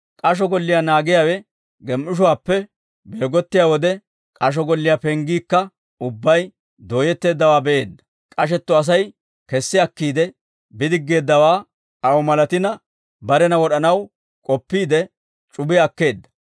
K'asho golliyaa naagiyaawe gem"ishuwaappe beegottiyaa wode, k'asho golliyaa penggiikka ubbay dooyetteeddawaa be'iide, k'ashetto Asay kessi akkiide bidiggeeddawaa aw malatina, barena wod'anaw k'oppiide, c'ubiyaa akkeedda.